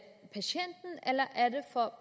for